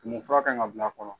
Tumu fura kan ka bila a kɔrɔ.